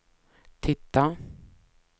titta